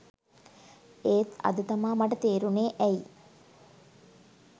එත් අද තමා මට තේරුනේ ඇයි